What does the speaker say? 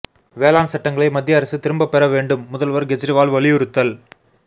வேளாண் சட்டங்களை மத்திய அரசு திரும்பப் பெற வேண்டும்முதல்வா் கேஜரிவால் வலியுறுத்தல்